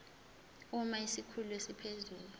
uma isikhulu esiphezulu